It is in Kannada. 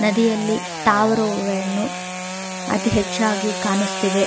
ನದಿಯಲ್ಲಿ ತಾವ್ರೆ ಹೂವು ವೇಣು ಅದ್ ಹೆಚ್ಚಾಗಿ ಕಾಣಸ್ತಿದೆ.